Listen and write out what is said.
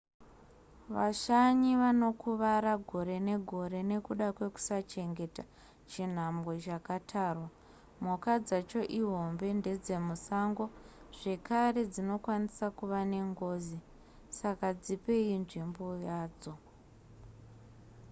vashanyi vanokuvara gore negore nekuda kwekusachengeta chinhambwe chakatarwa mhuka dzacho ihombe ndedzemusango zvakare dzinokwanisa kuve nengozi saka dzipei nzvimbo yadzo